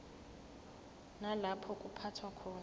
nalapho kuphathwa khona